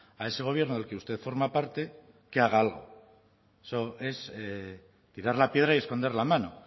a ese gobierno del que usted forma parte que haga algo eso es tirar la piedra y esconder la mano